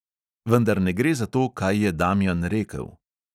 Vendar ne gre za to, kaj je damjan rekel.